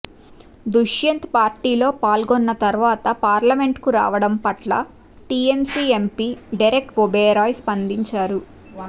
దుష్యంత్ పార్టీలో పాల్గొన్న తర్వాత పార్లమెంట్కు రావడం పట్ల టీఎంసీ ఎంపీ డెరెక్ ఒబేరాయ్ స్పందించారు